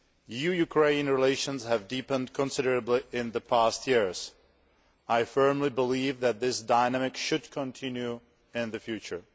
EU Ukraine relations have deepened considerably in the past years. I firmly believe that this dynamic should continue in the future.